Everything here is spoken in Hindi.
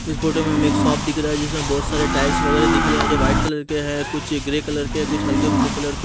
इस फोटो में हमें एक शॉप दिख रहा है जिसमें बहुत सारे टाइल्स वगैरा दिख रहे हैं जो वाइट कलर के हैं कुछ ग्रे कलर के कुछ हल्के ब्लू कलर के--